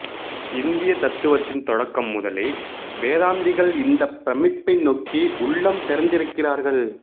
இந்திய தத்துவத்தின் தொடக்கம் முதலே வேதாந்திகள் இந்தப் பிரமிப்பை நோக்கி உள்ளம்திறந்திருக்கிறார்கள்